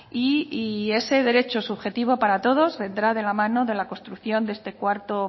y ese derecho subjetivo para todos vendrá de la mano de la construcción de este cuarto